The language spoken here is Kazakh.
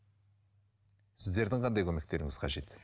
сіздердің қандай көмектеріңіз қажет